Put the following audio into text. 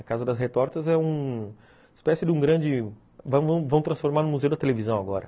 A Casa das Retortas é uma espécie de um grande... vão transformar num museu da televisão agora.